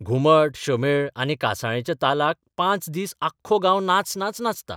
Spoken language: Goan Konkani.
घुमट, शामेळ आनी कांसाळेच्या तालाक पांच दीस आख्खो गांव नाच नाच नाचता.